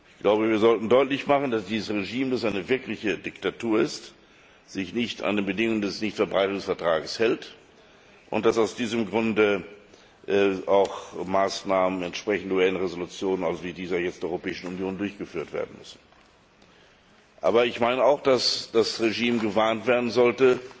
Ich glaube, wir sollten deutlich machen, dass dieses Regime, das eine wirkliche Diktatur ist, sich nicht an die Bedingungen des Nichtverbreitungsvertrags hält und dass aus diesem Grunde auch Maßnahmen entsprechend der UN Resolutionen, also wie diese jetzt der Europäischen Union, durchgeführt werden müssen. Aber ich meine auch, dass das Regime gewarnt werden sollte,